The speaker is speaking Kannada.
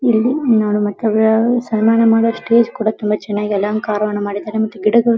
ಇಲ್ಲಿ ಸನ್ನಮಾನ್ ಮಾಡೋ ಸ್ಟೇಜ್ ಕೂಡ ತುಂಬಾ ಚನ್ನಾಗಿ ಅಲಂಕಾರವನ್ನು ಮಾಡಿದ್ದಾರೆ ಮತ್ತು ಗಿಡಗಳು --